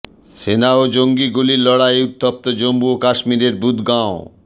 সেনা ও জঙ্গির গুলির লড়াইয়ে উত্তপ্ত জম্মু ও কাশ্মীরের বুদগাঁও